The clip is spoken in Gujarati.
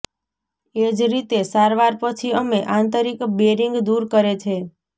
એ જ રીતે સારવાર પછી અમે આંતરિક બેરિંગ દૂર કરે છે